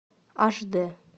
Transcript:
аш дэ